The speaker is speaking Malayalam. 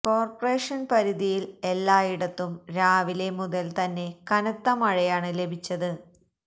കോര്പറേഷന് പരിധിയില് എല്ലായിടത്തും രാവിലെ മുതല് തന്നെ കനത്ത മഴയാണ് ലഭിച്ചത്